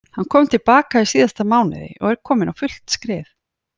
Hann kom til baka í síðasta mánuði og er kominn á fullt skrið.